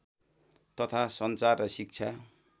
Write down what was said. तथा सञ्चार र शिक्षा